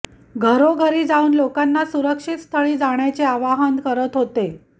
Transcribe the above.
घरोघरी जाऊन लोकांना सुरक्षित स्थळी जाण्याचे आवाहन करत होते